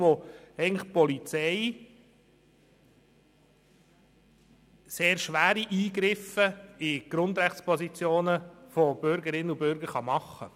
In diesen kann die Polizei sehr schwere Eingriffe in die Grundrechte von Bürgerinnen und Bürgern vornehmen.